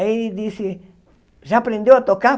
Aí ele disse, já aprendeu a tocar?